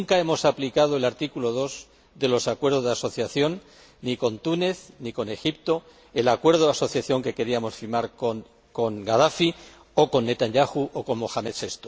Nunca hemos aplicado el artículo 2 de los acuerdos de asociación, ni con Túnez ni con Egipto, ni en los acuerdos de asociación que queríamos firmar con Gadafi o con Netanyahu o con Mohamed VI.